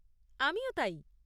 আমিও তাই।